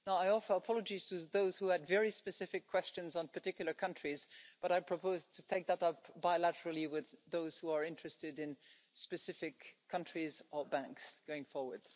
Now, I offer our apologies to those who had very specific questions on particular countries, but I propose to take that up bilaterally with those who are interested in specific countries or banks going forward.